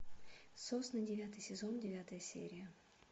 сосны девятый сезон девятая серия